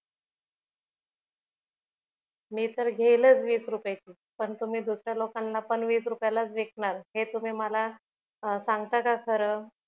मी तर घेईलच वीस रुपये ची पण तुम्ही दुसऱ्या लोकांना पण वीस रुपयांना च विकणार हे तुम्ही मला सांगता का खर